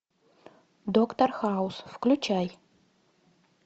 доктор хаус включай